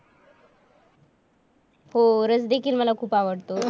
हो रस देखील मला खूप आवडतो.